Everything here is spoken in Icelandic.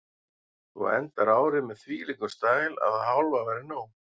Þú endar árið með þvílíkum stæl að það hálfa væri nóg.